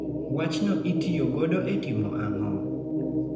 Wachno itiyo godo e timo ang'o?